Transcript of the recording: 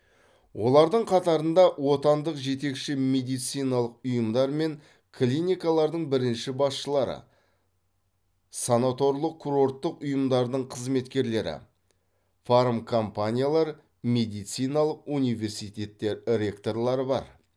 олардың қатарында отандық жетекші медициналық ұйымдар мен клиникалардың бірінші басшылары санаторлық курорттық ұйымдардың қызметкерлері фармкомпаниялар медициналық университеттер ректорлары бар